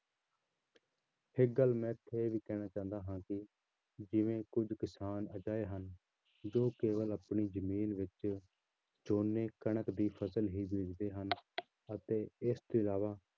ਇੱਕ ਗੱਲ ਮੈਂ ਇਹ ਵੀ ਕਹਿਣਾ ਚਾਹੁੰਦਾ ਹਾਂ ਕਿ ਜਿਵੇਂ ਕੁੱਝ ਕਿਸਾਨ ਅਜਿਹੇ ਹਨ ਜੋ ਕੇਵਲ ਆਪਣੀ ਜ਼ਮੀਨ ਵਿੱਚ ਝੋਨੇ ਕਣਕ ਦੀ ਫ਼ਸਲ ਹੀ ਬੀਜਦੇ ਹਨ ਅਤੇ ਇਸ ਤੋਂ ਇਲਾਵਾ